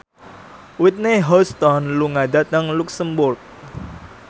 Whitney Houston lunga dhateng luxemburg